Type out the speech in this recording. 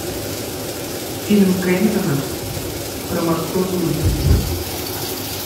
фильм кэмерона про морской круиз